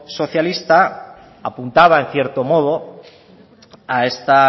socialista apuntaba en cierto modo a esta